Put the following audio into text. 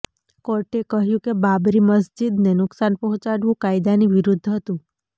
કોર્ટે કહ્યુ કે બાબરી મસ્જિદને નુકશાન પહોંચાડવુ કાયદાની વિરુદ્ધ હતુ